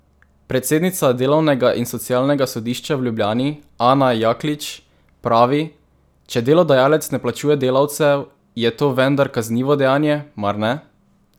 Predsednica delovnega in socialnega sodišča v Ljubljani Ana Jaklič pravi: "Če delodajalec ne plačuje delavcev, je to vendar kaznivo dejanje, mar ne?